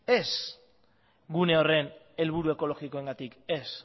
ez gune horren helburu ekologikoengatik ez